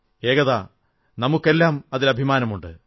ഏകതാ നമുക്കെല്ലാം അതിൽ അഭിമാനമുണ്ട്